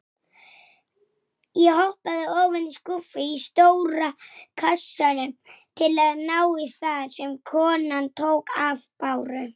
Handtök hans voru hlý.